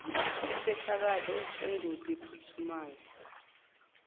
isehlakalo sengozi ephuthumayo